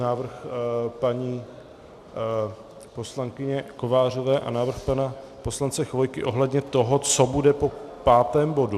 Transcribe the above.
Návrh paní poslankyně Kovářové a návrh pana poslance Chvojky ohledně toho, co bude po pátém bodu.